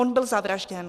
On byl zavražděn.